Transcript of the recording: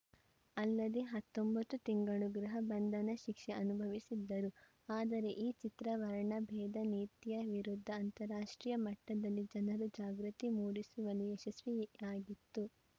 ಅಲ್ಲದೇ ಹತ್ತೊಂಬತ್ತು ತಿಂಗಳು ಗೃಹ ಬಂಧನ ಶಿಕ್ಷೆ ಅನುಭವಿಸಿದ್ದರು ಆದರೆ ಈ ಚಿತ್ರ ವರ್ಣಭೇದ ನೀತಿಯ ವಿರುದ್ಧ ಅಂತಾರಾಷ್ಟ್ರೀಯ ಮಟ್ಟದಲ್ಲಿ ಜನರಲ್ಲಿ ಜಾಗೃತಿ ಮೂಡಿಸುವಲ್ಲಿ ಯಶಸ್ವಿಯಾಗಿತ್ತು